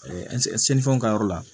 ka yɔrɔ la